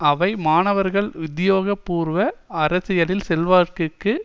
அவை மாணவர்கள் உத்தியோக பூர்வ அரசியலின் செல்வாக்கிற்கு